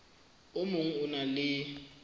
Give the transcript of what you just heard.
o mong o na le